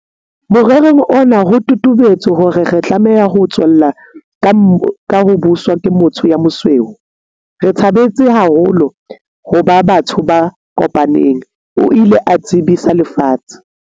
Morerong ona ho totobetse hore re tlameha ho tswella ka ho buswa ke motho ya mosweu. "Re thabetse haholo ho ba batho ba kopaneng," o ile a tsebisa lefatshe.